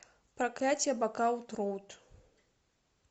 проклятье бакаут роуд